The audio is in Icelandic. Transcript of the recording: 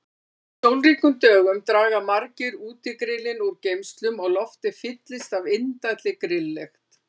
Á sólríkum dögum draga margir útigrillin úr geymslum og loftið fyllist af indælli grilllykt.